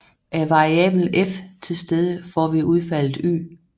Er variablen F tilstede får vi udfaldet Y